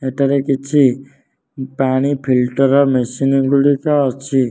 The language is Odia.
ଏଠାରେ କିଛି ପାଣି ଫିଲ୍ଟର ମେସିନ ଗୁଡ଼ିକ ଅଛି।